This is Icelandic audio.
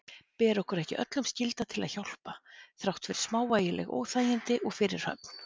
Ber okkur ekki öllum skylda til að hjálpa þrátt fyrir smávægileg óþægindi og fyrirhöfn?